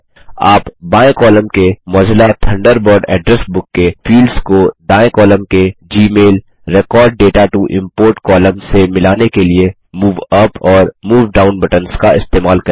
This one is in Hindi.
आप बाएँ कॉलम के मोजिल्ला थंडरबर्ड एड्रेस बुक के फील्ड्स को दायें कॉलम के Gmail record data to import column से मिलाने के लिए मूव यूपी और मूव डाउन बटन्स का इस्तेमाल करेंगे